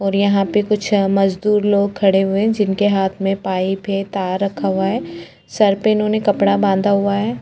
और यहाँ पे कुछ मजदुर लोग खड़े हुए है जिनके हाथ में पाइप है तार रखा हुआ है सर पे इन्होने कपड़ा बांधा हुआ है।